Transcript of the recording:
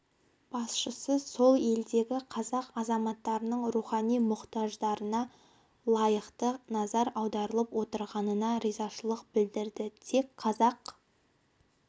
басшысы сол елдегі қазақ азаматтардың рухани мұқтаждарына лайықты назар аударылып отырғанына ризашылық білдірді тек қазақ